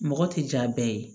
Mɔgɔ tɛ jaa bɛɛ ye